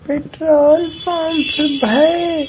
Petrol pump है।